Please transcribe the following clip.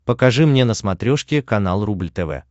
покажи мне на смотрешке канал рубль тв